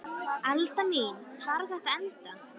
Alda mín, hvar á þetta að enda?